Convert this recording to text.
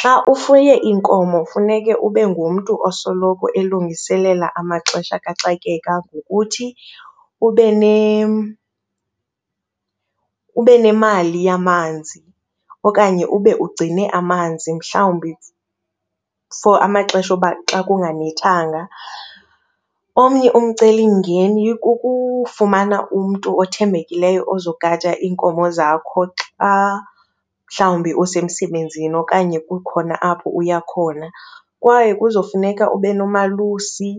Xa ufuye iinkomo funeka ube ngumntu osoloko elungiselela amaxesha kaxakeka ngokuthi ube ube nemali yamanzi okanye ube ugcine amanzi mhlawumbi for amaxesha uba xa kunganethanga. Omnye umcelimngeni kukufumana umntu othembekileyo ozogada iinkomo zakho xa mhlawumbi usemsebenzini okanye kukhona apho uya khona, kwaye kuzofuneka ube nomalusi